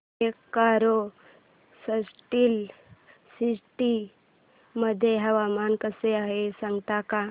Bokaro steel city मध्ये हवामान कसे आहे सांगता का